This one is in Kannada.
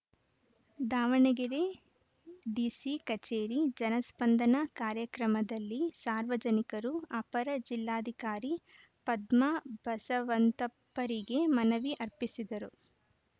ದಾವಣಗೆರೆ ಡಿಸಿ ಕಚೇರಿ ಜನಸ್ಪಂದನ ಕಾರ್ಯಕ್ರಮದಲ್ಲಿ ಸಾರ್ವಜನಿಕರು ಅಪರ ಜಿಲ್ಲಾಧಿಕಾರಿ ಪದ್ಮಾ ಬಸವಂತಪ್ಪರಿಗೆ ಮನವಿ ಅರ್ಪಿಸಿದರು